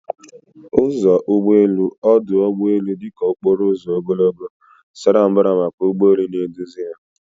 Ụzọ ụgbọ elu ọdụ ụgbọ elu dị ka okporo ụzọ ogologo, sara mbara maka ụgbọ elu na-eduzi ha